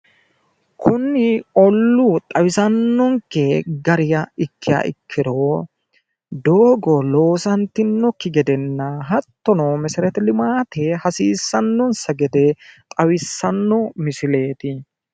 kuni olluu xawisannonke gariha ikkiha ikkiro doogo loosantinokki gedenna hattono meseret limaate hassiissannonsa gede xawissanno misileeti.